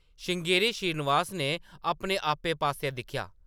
श्रृंगेरी श्रीनिवास ने अपने आपै पास्सै दिक्खेआ ।